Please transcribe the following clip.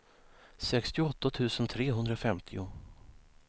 sextioåtta tusen trehundrafemtio